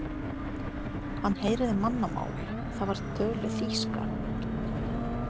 Hann heyrði mannamál, það var töluðu þýska.